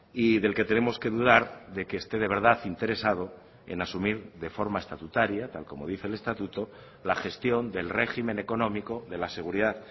y del que tenemos que dudar de que esté de verdad interesado en asumir de forma estatutaria tal como dice el estatuto la gestión del régimen económico de la seguridad